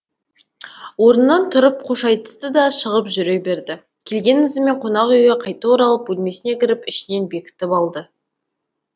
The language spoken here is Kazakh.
орнынан тұрып қош айтысты да шығып жүре берді келген ізімен қонақ үйге қайта оралып бөлмесіне кіріп ішінен бекітіп алды